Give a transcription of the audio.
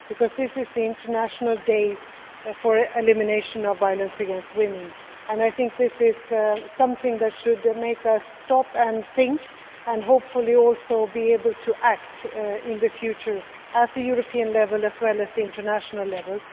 As this is the International Day for the Elimination of Violence against Women, this is something that should make us stop and think and, hopefully, also act in the future at European level, as well as at international level.